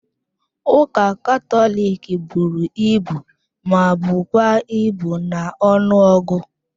Ụka Katọlik buru ibu ma bụkwa ibu na ọnụọgụ.